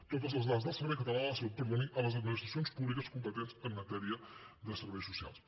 totes les dades del servei català de la salut perdoni a les administracions públiques competents en matèria de serveis socials